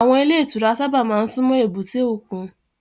Àwọn ilé ìtura sábà máa ń súnmọ́ èbúté òkun.